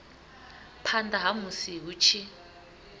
phanḓa ha musi hu tshi